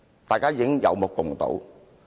大家有目共睹。